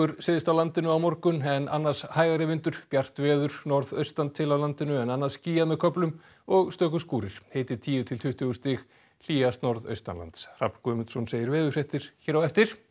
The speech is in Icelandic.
syðst á landinu á morgun en annars hægari vindur bjart veður norðaustan til á landinu en annars skýjað með köflum og stöku skúrir hiti tíu til tuttugu stig hlýjast norðaustanlands Hrafn Guðmundsson segir veðurfréttir hér á eftir